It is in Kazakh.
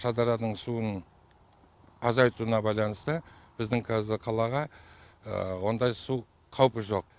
шардараның суының азайтуына байланысты біздің қазір қалаға ондай су қаупі жоқ